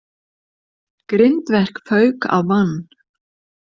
Grindverk fauk á mann